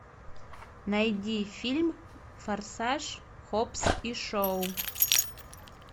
найди фильм форсаж хоббс и шоу